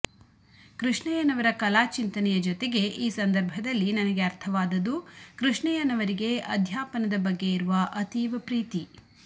ಕೃಷ್ಣಯ್ಯನವರ ಕಲಾಚಿಂತನೆಯ ಜೊತೆಗೆ ಈ ಸಂದರ್ಭದಲ್ಲಿ ನನಗೆ ಅರ್ಥವಾದದ್ದು ಕೃಷ್ಣಯ್ಯನವರಿಗೆ ಅಧ್ಯಾಪನದ ಬಗ್ಗೆ ಇರುವ ಅತೀವ ಪ್ರೀತಿ